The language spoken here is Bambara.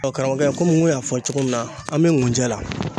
karamɔgɔkɛ komi n kun y'a fɔ cogo min na an be ŋunjɛ la.